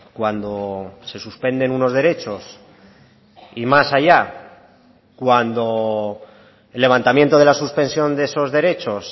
cuando se suspenden unos derechos y más allá cuando el levantamiento de la suspensión de esos derechos